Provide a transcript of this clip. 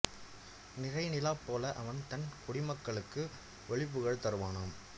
நிறைநிலாப் போல அவன் தன் குடிமக்களுக்கு ஒளி புகழ் தருவானாம்